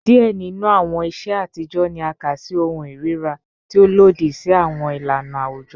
Diẹ ninu awọn iṣe atijọ ni a ka si ohun irira, ti o lodi si awọn ilana awujọ